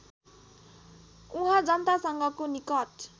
उहाँ जनतासँगको निकट